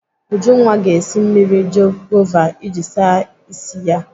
Ujunwa ga-esi mmiri gova iji ịsa ịsị ya.